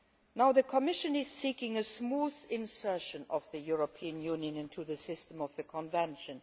Now the Commission is seeking a smooth insertion of the European Union into the system of the Convention.